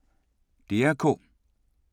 DR K